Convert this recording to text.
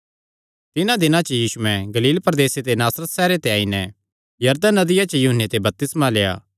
तिन्हां दिनां च यीशुयैं गलील प्रदेसे दे नासरत सैहरे ते आई नैं यरदन नदिया च यूहन्ने ते बपतिस्मा लेआ